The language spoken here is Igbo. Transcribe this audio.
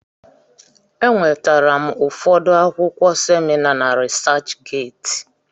E nwetara m ụfọdụ akwụkwọ semina na Risach Geeti.